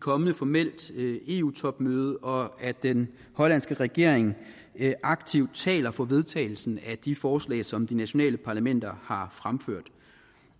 kommende formelt eu topmøde og at den hollandske regering aktivt taler for vedtagelsen af de forslag som de nationale parlamenter har fremført